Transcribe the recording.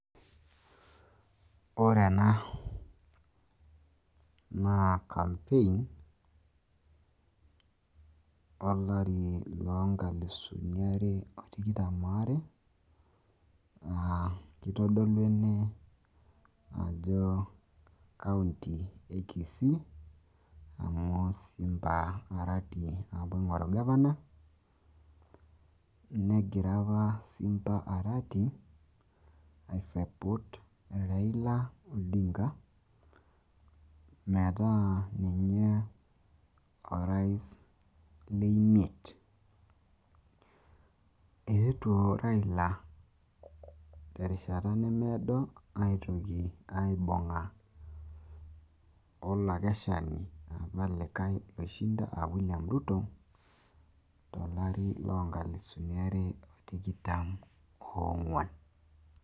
Ore ena naa kampein olari loonkalusuni are otikitam aare, naa keitodolu ene ajo kaunti e Kisii amu Simba Arati opa oing'oru gavana, negira opa Simba Arati aisapoot Raila Odinga metaa ninye orais le imiet. Eetuo Raila terishata nemeedo aitoki aibung'a olakeshani opa likae oishinda aa William Ruto, tolari loonkalusuni are o tikitam oong'uan.